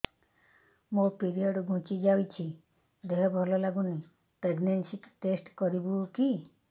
ମୋ ପିରିଅଡ଼ ଘୁଞ୍ଚି ଯାଇଛି ଦେହ ଭଲ ଲାଗୁନି ପ୍ରେଗ୍ନନ୍ସି ଟେଷ୍ଟ କରିବୁ କି